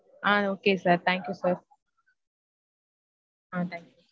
ah okay sir thank you sir ah thank you